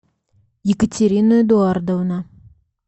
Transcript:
екатерина эдуардовна